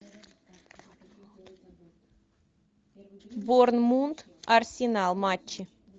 борнмут арсенал матчи